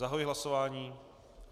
Zahajuji hlasování.